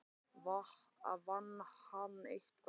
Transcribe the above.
Vann hann eitthvað?